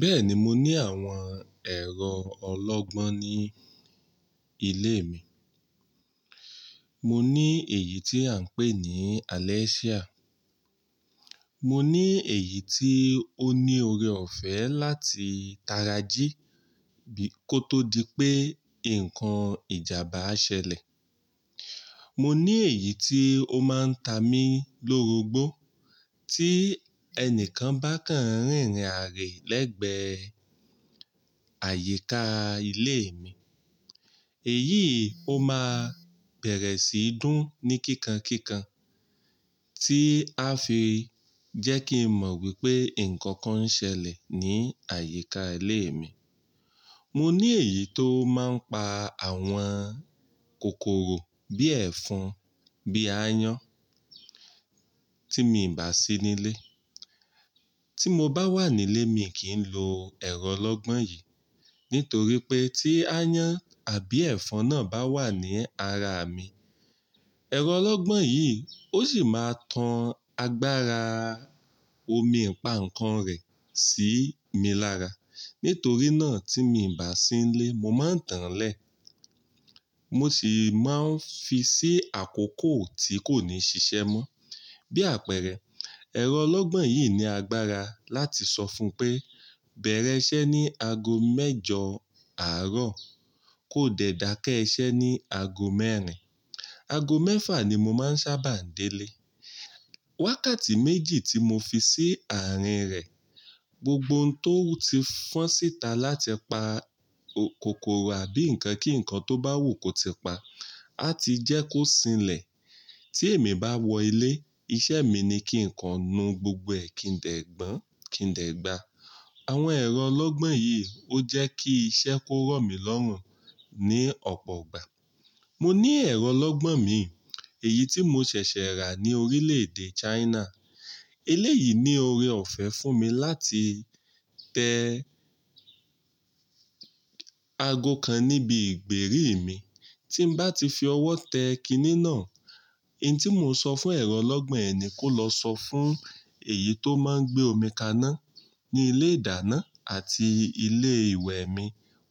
Bẹ́ẹ̀ni mo ní àwọn ẹ̀rọ ọlọ́gbọ́n ní ilé mi. Mo ní èyí tí à ń pè ní Alexia. Mo ní èyí tí ó ní oore ọ̀fẹ́ láti tara jí bí kò tó di pé nǹkan ìjàmbá ṣẹlẹ̀. Mo ní èyí tí ó máa ń ta mi lórogbó tí ẹni kan bá kàn rìn rìn àrẹ̀ lẹ́gbẹ̀ẹ́ àyíká ilé mi. Èyí ó máa bẹ̀rẹ̀ sí í dún ní kíkan kíkan tí á fi jẹ́ kí n mọ̀ wípé nǹkan kan ń ṣẹlẹ̀ ní àyíká ilé mi. Mo ní èyí tó máa ń pa àwọn kòkòrò bí ẹ̀fọn, bí áyán tí mi ò bá sí nílé. Tí mo bá wà nílé, mi kì í lo ẹ̀rọ ọlọ́gbọ́n yìí nítorí pé tí áyán àbí ẹ̀fọn náà bá wà ní ara mi, ẹ̀rọ ọlọ́gbọ́n yìí ó sì máa tan agbára omi ìpaǹkan rẹ̀ sí mi lára. Nítorí náà tí mi ò bá sí nílé, mo máa ń tanlẹ̀. Mo sì máa ń fi sí àkókò tí kò ní ṣiṣẹ́ mọ́. Bí àpẹẹrẹ, ẹ̀rọ ọlọ́gbọ́n yìí ní agbára láti sọ fún pé bẹ̀rẹ̀ iṣẹ́ ní aago mẹ́jọ àárọ̀, kó dẹ̀ dakẹ́ iṣẹ́ ní aago mẹ́rin. Aago mẹ́fà ni mo máa ń sábà délé. Wákàtí méjì tí mo fi sí àárín rẹ̀ gbogbo ohun tó ti fọ́n síta láti pa kòkòrò àbí nǹkan kí nǹkan tó bá wù kó ti pa á ti jẹ́ kó sinlẹ̀. Tí èmi bá wọ ilé, iṣẹ́ mi ni kí nǹkan nu gbogbo ẹ̀kìndẹ̀gbọ̀n, kìndẹ̀gbà. Àwọn ẹ̀rọ ọlọ́gbọ́n yìí ó jẹ́ kí iṣẹ́ kó rọ̀ mí lọ́rùn ní ọ̀pọ̀ ọgbà. Mo ní ẹ̀rọ ọlọ́gbọ́n mi, èyí tí mo ṣẹ̀ṣẹ̀ rà ní orílẹ̀-èdè China. Elé yìí ní oore ọ̀fẹ́ fún mi láti tẹ aago kan níbi ìgbèrí mi. Tí n bá ti fi ọwọ́ tẹ kiní náà, n tí mò ń sọ fún ẹ̀rọ ọlọ́gbọ́n yẹn ni kó lọ sọ fún èyí tó máa ń gbé omi kaná ní ilé ìdáná àti ilé ìwẹ̀ mi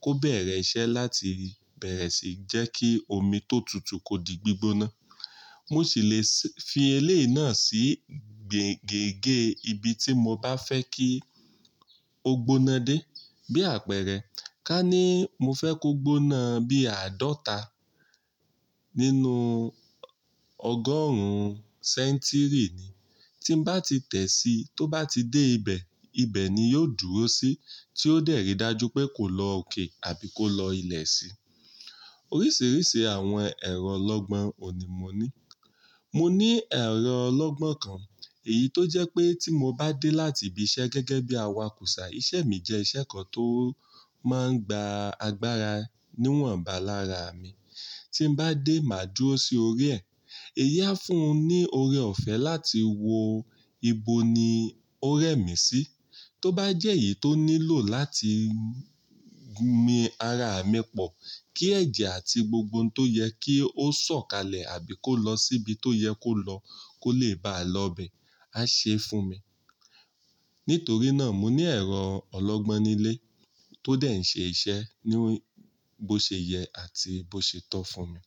kó bẹ̀rẹ̀ iṣẹ́ láti bẹ̀rẹ̀ sí jẹ́ kí omi tó tutù kó di gbígbóná. Mo sì le fi elé yìí náà sí gègè ìbí tí mo bá fẹ́ kí ó gbóná dé. Bí àpẹẹrẹ, ká ní mo fẹ́ kó gbóná bí àádọ́ta nínú ọgọ́rùn-ún sẹ́ńtírì ni. Tí n bá ti tẹ̀ sí i tó bá ti dé ibẹ̀, ibẹ̀ ni yóò dúró sí tí ó dẹ̀ rí i dájú pé kò lọ òkè àbí kó lọ ilẹ̀ sí i. Oríṣiríṣi àwọn ẹ̀rọ ọlọ́gbọ́n òní mo ní. Mo ní ẹ̀rọ ọlọ́gbọ́n kan, èyí tó jẹ́ pé tí mo bá dé láti ibi iṣẹ́ gẹ́gẹ́ bí awakùsà, iṣẹ́ mi jẹ́ iṣẹ́ kan tó máa ń gba agbára níwọ̀nba lára mi. Tí n bá dé, máa dúró sí orí ẹ. Ẹ̀yi a fún un ní oore ọ̀fẹ́ láti wo ibo ni ó rẹ́ mi sí. Tó bá jẹ́ èyí tó nílò láti gun mi ara mi pọ̀ kí ẹ̀jẹ̀ àti gbogbo ohun tó yẹ kí ó sọ̀kalẹ̀ àbí kó lọ síbi tó yẹ kó lọ kó lè bá lọ bẹ̀, á ṣe é fún mi. Nítorí náà, mo ní ẹ̀rọ ọlọ́gbọ́n nílé tó dẹ̀ ń ṣe iṣẹ́ ní bó ṣe yẹ àti bó ṣe tọ́ fún mi.